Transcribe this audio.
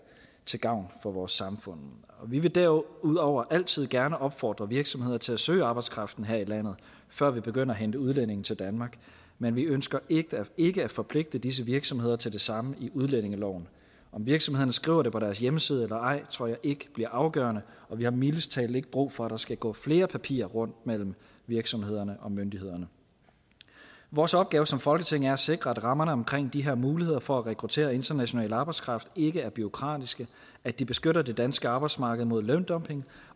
til gavn for vores samfund vi vil derudover altid gerne opfordre virksomheder til at søge arbejdskraften her i landet før vi begynder at hente udlændinge til danmark men vi ønsker ikke at forpligte disse virksomheder til det samme i udlændingeloven om virksomhederne skriver det på deres hjemmeside eller ej tror jeg ikke bliver afgørende og vi har mildest talt ikke brug for at der skal gå flere papirer rundt mellem virksomhederne og myndighederne vores opgave som folketing er at sikre at rammerne omkring de her muligheder for at rekruttere international arbejdskraft ikke er bureaukratiske at de beskytter det danske arbejdsmarked mod løndumping